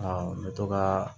n bɛ to kaa